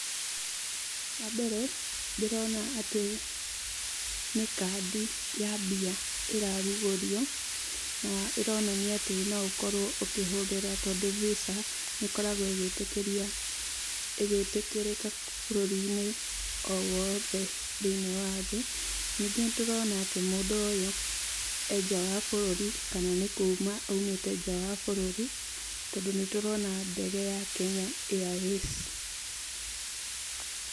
Wa mbere ndĩrona atĩ nĩ kandi ya mbia ĩrarugũrio, ĩronania atĩ no ũkorwo ũkĩhũthĩra tondũ visa nĩ ĩkoragwo ĩgĩtĩkĩria, ĩgĩtĩkĩrĩka bũrũri owothe thĩiniĩ wa thĩ, ningĩ nĩtũrona atĩ mũndũ ũyũ e nja wa bũrũri kana nĩ kuma aumĩte nja wa bũrũri, tondũ nĩ tũrona ndege ya Kenya Airways.